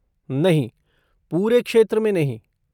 नहीं, पूरे क्षेत्र में नहीं।